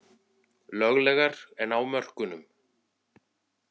Löglegar en á mörkunum